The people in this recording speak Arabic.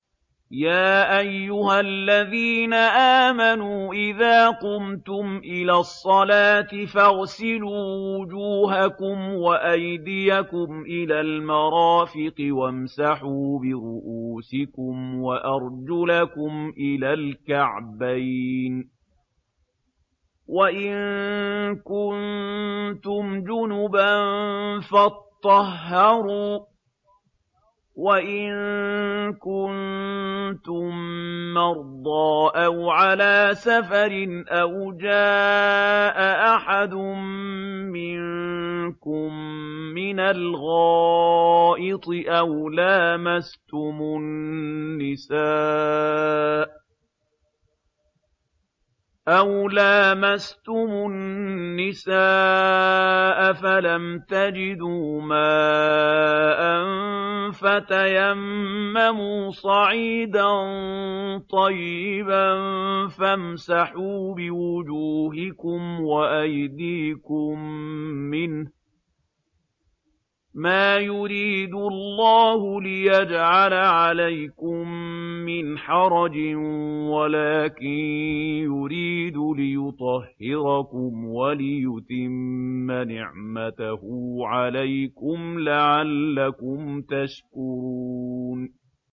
يَا أَيُّهَا الَّذِينَ آمَنُوا إِذَا قُمْتُمْ إِلَى الصَّلَاةِ فَاغْسِلُوا وُجُوهَكُمْ وَأَيْدِيَكُمْ إِلَى الْمَرَافِقِ وَامْسَحُوا بِرُءُوسِكُمْ وَأَرْجُلَكُمْ إِلَى الْكَعْبَيْنِ ۚ وَإِن كُنتُمْ جُنُبًا فَاطَّهَّرُوا ۚ وَإِن كُنتُم مَّرْضَىٰ أَوْ عَلَىٰ سَفَرٍ أَوْ جَاءَ أَحَدٌ مِّنكُم مِّنَ الْغَائِطِ أَوْ لَامَسْتُمُ النِّسَاءَ فَلَمْ تَجِدُوا مَاءً فَتَيَمَّمُوا صَعِيدًا طَيِّبًا فَامْسَحُوا بِوُجُوهِكُمْ وَأَيْدِيكُم مِّنْهُ ۚ مَا يُرِيدُ اللَّهُ لِيَجْعَلَ عَلَيْكُم مِّنْ حَرَجٍ وَلَٰكِن يُرِيدُ لِيُطَهِّرَكُمْ وَلِيُتِمَّ نِعْمَتَهُ عَلَيْكُمْ لَعَلَّكُمْ تَشْكُرُونَ